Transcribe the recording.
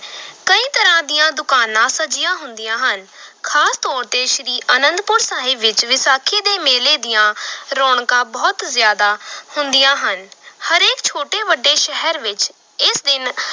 ਕਈ ਤਰਾਂ ਦੀਆਂ ਦੁਕਾਨਾਂ ਸਜੀਆਂ ਹੁੰਦੀਆਂ ਹਨ ਖ਼ਾਸ ਤੌਰ ਤੇ ਸ੍ਰੀ ਅਨੰਦਪੁਰ ਸਾਹਿਬ ਵਿਚ ਵਿਸਾਖੀ ਦੇ ਮੇਲੇ ਦੀਆਂ ਰੌਣਕਾਂ ਬਹੁਤ ਜ਼ਿਆਦਾ ਹੁੰਦੀਆਂ ਹਨ, ਹਰੇਕ ਛੋਟੇ ਵੱਡੇ ਸ਼ਹਿਰ ਵਿੱਚ ਇਸ ਦਿਨ